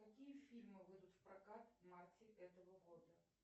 какие фильмы выйдут в прокат в марте этого года